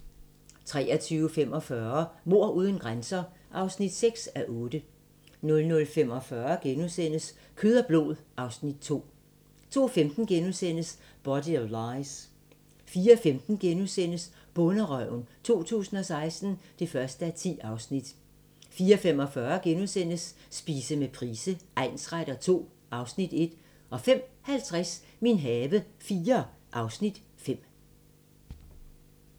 23:45: Mord uden grænser (6:8) 00:45: Kød og blod (Afs. 2)* 02:15: Body of Lies * 04:15: Bonderøven 2016 (1:10)* 04:45: Spise med Price egnsretter II (Afs. 1)* 05:50: Min have IV (Afs. 5)